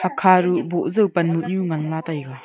kha du boh jau pan moh nyu ngan la taiga.